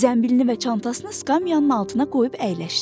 Zənbilini və çantasını skamyanın altına qoyub əyləşdi.